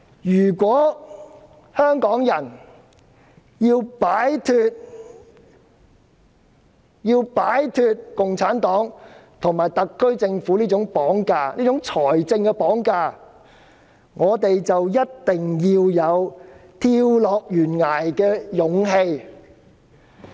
如果香港人要擺脫共產黨及特區政府這種"綁架"，這種"財政綁架"，便必須有跳下懸崖的勇氣。